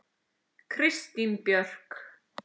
Kristín Björk.